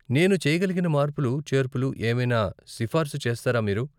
నేను చెయ్యగలిగిన మార్పులు చేర్పులు ఏమైనా సిఫార్స్ చేస్తారా మీరు ?